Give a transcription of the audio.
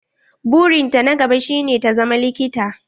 Buri na ta na gaba shi ne ta zama likita.